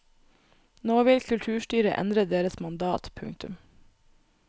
Nå vil kulturstyret endre deres mandat. punktum